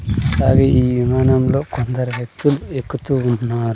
అట్లాగే ఈ విమానంలో కొందరు వేక్తులు ఎక్కుతూ ఉన్నారు.